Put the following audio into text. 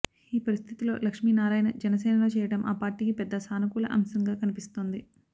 ఈ పరిస్థితిలో లక్ష్మీనారాయణ జనసేనలో చేరడం ఆ పార్టీకి పెద్ద సానుకూల అంశంగా కనిపిస్తోంది